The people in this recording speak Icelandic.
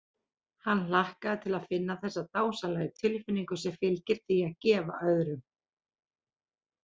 Hann hlakkaði til að finna þessa dásamlegu tilfinnigu sem fylgir því að gefa öðrum.